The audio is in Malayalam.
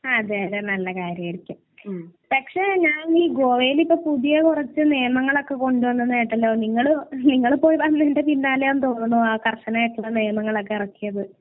അതെയതെ. നല്ല കാര്യം. പക്ഷേ ഞാൻ ഈ ഗോവയിൽ ഒക്കെ പുതിയ കുറച്ച് നിയമങ്ങളൊക്കെ കൊണ്ട് വന്നെന്ന് കേട്ടല്ലോ. നിങ്ങൾ നിങ്ങൾ പോയതിന്റെ പിന്നാലെയാണ് എന്ന് തോന്നുന്നു ആ കർശനായിട്ടുള്ള നിയമങ്ങളൊക്കെ ഇറക്കിയത്.